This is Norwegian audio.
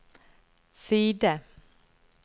side